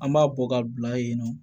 An b'a bɔ ka bila yen nɔ